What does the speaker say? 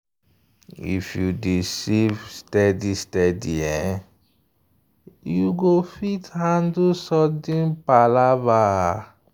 if you dey save steady steady you go fit handle sudden wahala.